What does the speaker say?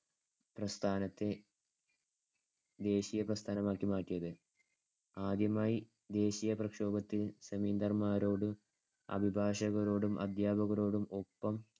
പ്രസ്ഥാനത്തെ ദേശീയ പ്രസ്ഥാനമാക്കി മാറ്റിയത്. ആദ്യമായി ദേശീയ പ്രക്ഷോഭത്തിൽ ജമീന്ദാർമാരോടും അഭിഭാഷകരോടും അധ്യാപകരോടും ഒപ്പം